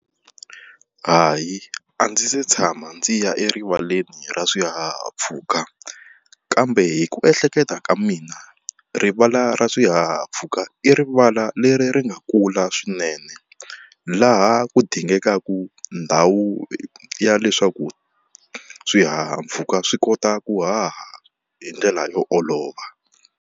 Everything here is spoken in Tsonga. Hayi a ndzi se tshama ndzi ya erivaleni ra swihahampfhuka, kambe hi ku ehleketa ka mina rivala ra swihahampfhuka i rivala leri ri ri nga kula swinene laha ku dingaka ndhawu ya leswaku swihahampfhuka swi kota ku haha hi ndlela yo olova.